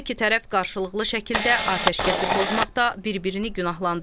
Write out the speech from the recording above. Hər iki tərəf qarşılıqlı şəkildə atəşkəsi pozmaqda bir-birini günahlandırır.